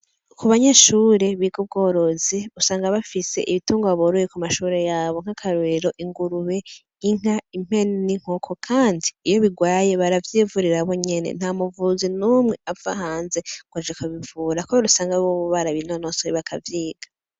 Kubanyeshure biga ubworozi usanga bafise ibitungwa boroye kumashure yabo nk'akarorero:ingurube, inka, impene, n'inkoko , Kandi iyo bigwaye baravyivurira bonyene ntamuvuzi numwe avahanze ngwaje kubivura kubera usanga bobo barabinonosoye bakavyiga.